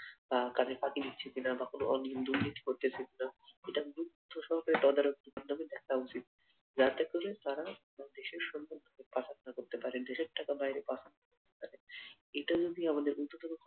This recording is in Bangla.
বা কাজের ফাঁকি দিচ্ছে কি না বা কোনো অনিয়ম দুর্নীতি করতেছে কি না এটা যদি তদারকি সহকারে দেখা উচিৎ যাতে করে তারা দেশের সম্পদ পাচার না করতে পারে দেশের টাকা বাইরে পাচার এটা যদি আমাদের